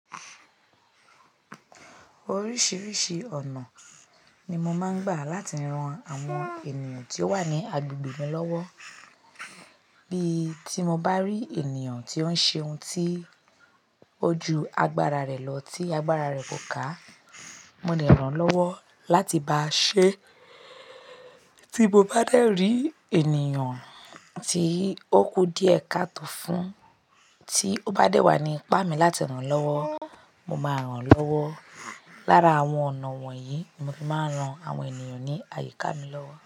Oríṣiríṣi ọ̀nà ni mo máa ń gbà láti ran àwọn ènìyàn tí ó wà ní agbègbè mi lọ́wọ́. Bí tí mo bá rí ènìyàn tí ó ń ṣe ohun tí ó ju agbára rẹ̀ lọ tí agbára rẹ̀ kò ká, mo lè ràn lọ́wọ́ láti bá a ṣe. Tí mo bá dè rí ènìyàn tí ó kú díẹ̀ ká tó fún, tí ó bá dé wà ní ipá mi láti ràn lọ́wọ́, mo máa ràn lọ́wọ́. Lára àwọn ọ̀nà wọ̀nyí ni mo fi máa ń ran àwọn ènìyàn ní àyíká mi lọ́wọ́.